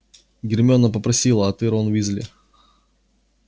гермиона попросила а ты рон уизли